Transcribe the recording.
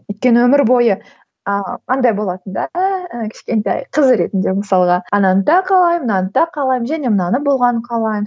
өйткені өмір бойы а андай болатын да кішкентай қыз ретінде мысалға ананы да қалаймын мынаны да қалаймын және мынаны болғанын қалаймын